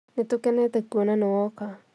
Nĩtũkenete kũona nĩ woka